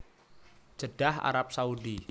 Jeddah Arab Saudi